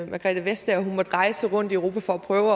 margrethe vestager måtte rejse rundt i europa for at prøve